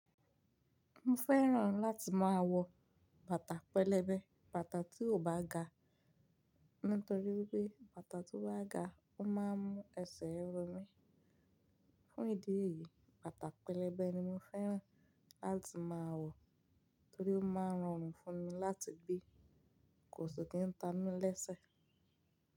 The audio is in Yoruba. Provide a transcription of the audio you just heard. Mo fẹ́ràn láti máa wọ bàtà pẹlẹbẹ, bàtà tí ò bá ga. Nítorí wipé bàtà tó bá ga, ó máa ń mú ẹsẹ̀ ro mí. Fún ìdí èyí, bàtà pẹlẹbẹ ni mo fẹ́ràn láti máa wọ torí ó máa ń rọrùn fún mi láti gbé. Kò sì kí ń tami lẹ́sẹ̀.